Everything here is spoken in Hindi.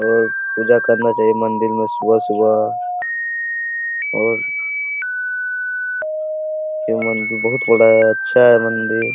और पूजा करना चाहिए मंदिर में सुबह सुबह और यह मंदिर बहुत बड़ा है अच्छा है मंदिर--